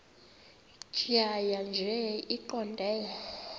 tjhaya nje iqondee